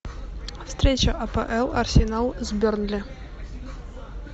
встреча апл арсенал с бернли